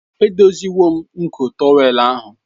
Edoziwo m nko tọwel ahụ.